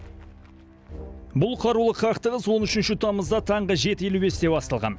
бұл қарулы қақтығыс он үшінші тамызда жеті елу бесте басталған